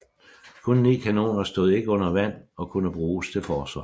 Kun 9 kanoner stod ikke under vand og kunne bruges til forsvar